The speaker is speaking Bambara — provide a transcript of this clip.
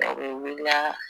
Dɔw be wila